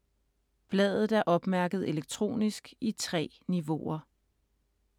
Bladet er opmærket elektronisk i 3 niveauer.